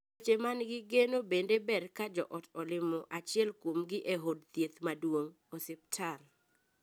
Weche man gi geno bende ber ka joot olimo achiel kuomgi e od thieth maduong ('osiptal').